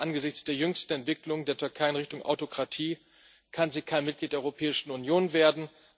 Aber angesichts der jüngsten Entwicklungen der Türkei in Richtung Autokratie kann sie kein Mitglied der Europäischen Union werden.